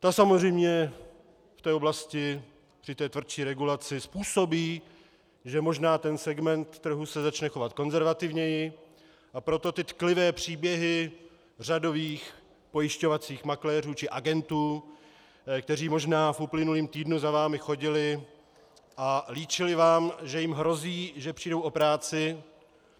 Ta samozřejmě v té oblasti při té tvrdší regulaci způsobí, že možná ten segment trhu se začne chovat konzervativněji, a proto ty tklivé příběhy řadových pojišťovacích makléřů či agentů, kteří možná v uplynulém týdnu za vámi chodili a líčili vám, že jim hrozí, že přijdou o práci.